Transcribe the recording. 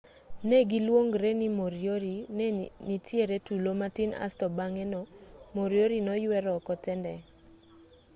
negiluongre ni moriori nenitiere tulo matin asto bang'e no moriori noywer oko tendeng'